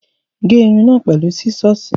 Gé irun náà pẹ̀lú sísọ́ọ̀sì.